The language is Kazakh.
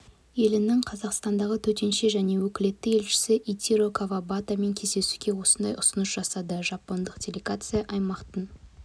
елінің қазақстандағы төтенше және өкілетті елшісі итиро кавабатамен кездесуде осындай ұсыныс жасады жапондық делегация аймақтың